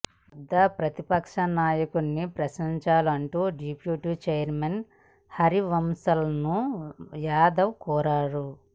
వద్దా ప్రతిపక్ష నాయకుడిని ప్రశ్నించాలంటూ డిప్యూటీ చైర్మన్ హరివంశ్ను యాదవ్ కోరారు